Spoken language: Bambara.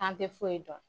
K'an tɛ foyi dɔn